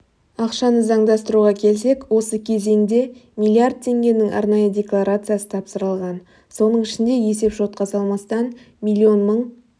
ақшаны заңдастыруға келсек осы кезеңде миллиард теңгенің арнайы декларациясы тапсырылған соның ішінде есепшотқа салмастан миллион мың